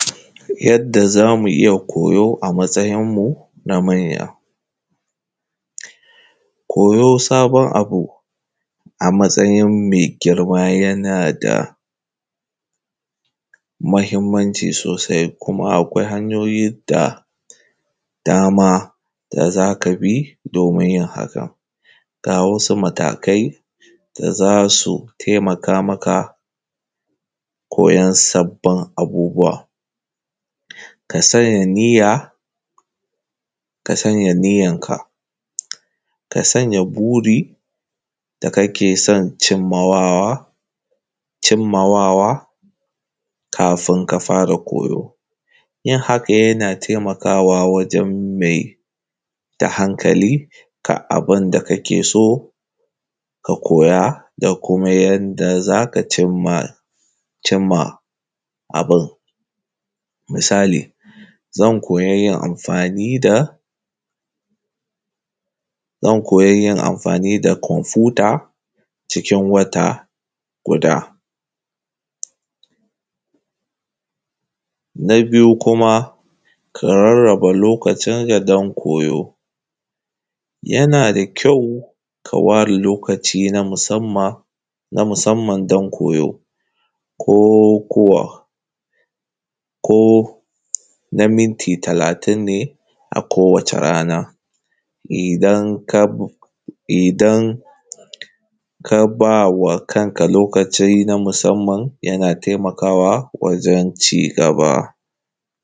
Yadda za mu iya koyo a matsayin mu na manya. Koyo sabon abu a matsayin mai girma yana da mahimmanci sosai, kuma akwai hanyoyi da dama da za ka bi domin yin haka. Ga wasu matakai da za su taimaka maka koyon sabbin abubuwa; ka sanya niyya, ka sanya niyyan ka, ka sanya buri da kake son cimmawawa, cimmawawa kafin ka fara koyo. Yin haka yana taimakawa wajen maida hankali ga abin da kake so ka koya da kuma yanda za ka cimma, cimma abin, misali, zan koya yin amfani da, zan koya yin amfani da kwafuta cikin wata guda. Na biyu kuma ka rarraba lokacin ka don koyo; yana da kyau ka ware lokaci na musamma, na musamman don koyo, ko ko, ko na minti talatin ne a kowace rana, idan kab, idan ka ba wa kanka lokaci na musamman yana tamakawa wajen ci-gaba.